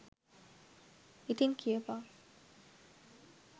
ඉතින් කියපන්